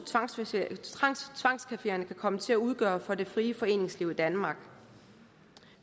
tvangscafeerne kan komme til at udgøre for det frie foreningsliv i danmark